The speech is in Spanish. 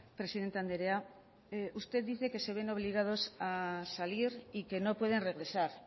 presidente andrea usted dice que se ven obligados a salir y que no pueden regresar